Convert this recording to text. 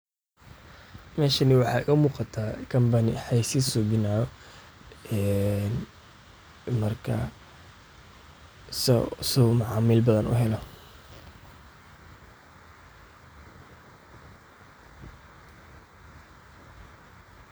waa adeeg casri ah oo dowladda ay u soo bandhigtay shacabka si ay si fudud, degdeg ah, una hufan ugu helaan adeegyada kala duwan ee dowladda iyaga oo aan u baahnayn in ay saf dheer galaan ama xafiisyada dowladda tagaan. Adeegan ayaa u oggolaanaya dadka inay online-ka kaga codsadaan dukumentiyada muhiimka ah sida baasaboorka, shatiga darawalnimada, caddeynta dhalashada, iyo adeegyo kale oo badan.